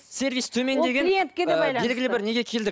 сервис төмен деген белгілі і бір неге келдік